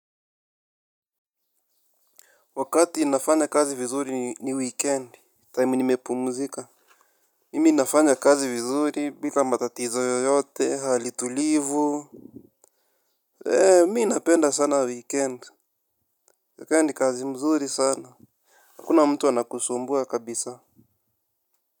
Wakati nafanya kazi vizuri ni weekend Time nimepumzika. Mimi nafanya kazi vizuri bila matatizo yoyote hali tulivu. Eee mi napenda sana weekendi kaa ni kazi mzuri sana. Hakuna mtu anakusumbua kabisa.